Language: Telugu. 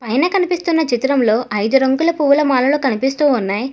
పైన కనిపిస్తున్న చిత్రంలో ఐదు రంగుల పువ్వుల మాలలు కనిపిస్తూ ఉన్నాయి.